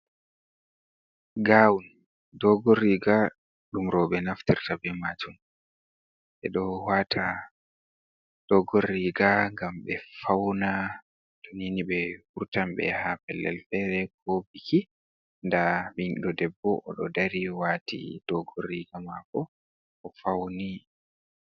Gawun dogon riiga ɗum rooɓe naftirta be majum ɓe ɗo waata dogon riiga ngam ɓe fauna tonini ɓe wurtan ɓe yaha pellel feere ko biki, nda biɗɗo debbo oɗo dari waati dogon riiga mako o fauni.